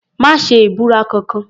Má ṣe ìbúra kankan.